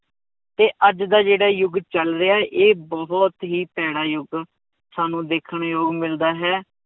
ਤੇ ਅੱਜ ਦਾ ਜਿਹੜਾ ਯੁੱਗ ਚੱਲ ਰਿਹਾ ਇਹ ਬਹੁਤ ਹੀ ਭੈੜਾ ਯੁੱਗ ਸਾਨੂੰ ਦੇਖਣ ਨੂੰ ਮਿਲਦਾ ਹੈ